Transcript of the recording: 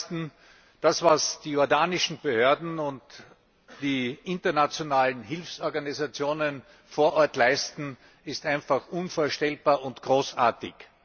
Zum Ersten Das, was die jordanischen Behörden und die internationalen Hilfsorganisationen vor Ort leisten, ist einfach unvorstellbar und großartig.